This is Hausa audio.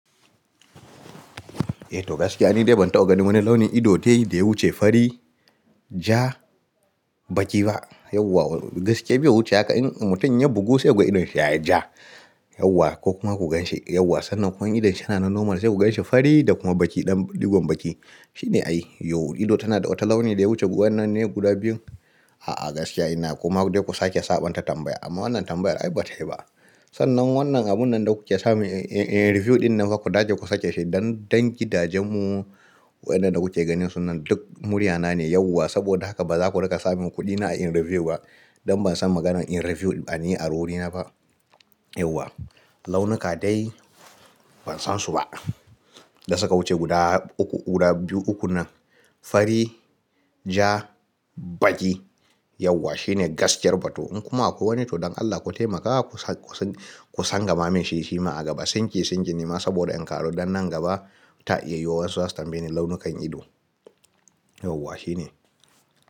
Eh to gaskiya ne dai ban taɓa ganin wani launin ido dai da ya wuce fari, ja, baƙi ba. Yauwa gaskiya bai wuce haka in mutum ya bugu sai ku ga idon shi ya yi ja yauwa ko kuma ku ganshi yauwa. Sannan ko in idon shi yana na normal sai ku ganshi fari da kuma baƙi ɗan ɗigon baƙi. Shi ne a yi. Yau ido tana da wata launi da ya wuce wannan ne guda biyun. A'a, gaskiya ina kuma duk da ku sake saɓonta tambaya amma wannan tambayar ai ba ta yi ba. Sannan wannan abun nan da kuke sani in-in-in review ɗin nan fa ku dace ku sake shi don-don gidajen mu waɗanda kuke ganin su nan duk muryana ne yauwa saboda haka ba za ku riƙa samun kuɗina a in review ba. Don ban san maganar in review bane a ru rina ba. Yauwa launuka dai ban san su ba da suka wuce guda uku guda biyu, uku nan fari, ja, baƙi yauwa shine gaskiyar ba to in kuma akwai wani to don Allah ku taimaka ku sa-ku san-ku san gama man shi shima a gaba. Sinki sinki nima saboda in ƙaro dannan gaba ta iya yuwa wasu za su tambaye ni launukan ido. Yauwa shine.